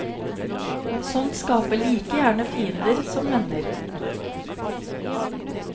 Sånt skaper like gjerne fiender som venner.